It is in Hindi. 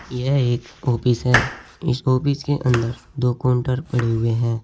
यह एक ऑफिस है इस ऑफिस के अंदर दो काउंटर पड़े हुए हैं।